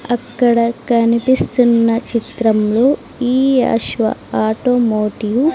అక్కడ కనిపిస్తున్న చిత్రంలో ఈ అశ్వ ఆటోమోటివ్ --